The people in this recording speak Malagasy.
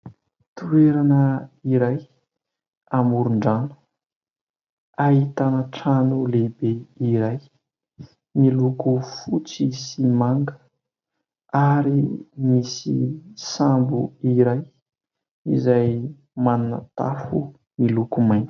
Toerana iray amoron-drano, ahitana trano lehibe iray miloko fotsy sy manga ary misy sambo iray izay manana tafo miloko mainty.